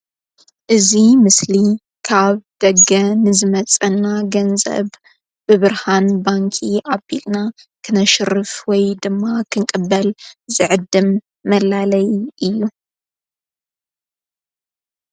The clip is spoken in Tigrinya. እዙይ ምስሊ ካብ ደገ ንዝመጸና ገንዘብ ብብርሃን ባንኪ ዓጲልና ክነሽርፍ ወይ ድማ ኽንቅበል ዘዕድም መላለይ እዩ::